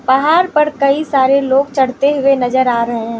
पहाड़ पर कई सारे लोग चढ़ते हुए नजर आ रहे--